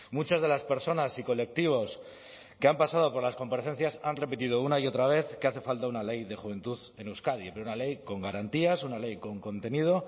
muchas de las personas y colectivos que han pasado por las comparecencias han repetido una y otra vez que hace falta una ley de juventud en euskadi pero una ley con garantías una ley con contenido